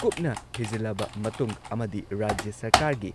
ꯀꯨꯞꯅ ꯊꯤꯖꯤꯜꯂꯕ ꯃꯇꯨꯡ ꯑꯃꯗꯤ ꯔꯥꯖ꯭ꯌ ꯁꯔꯀꯥꯔꯒꯤ